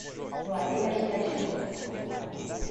владимир стасюк